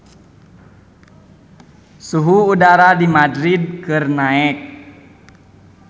Suhu udara di Madrid keur naek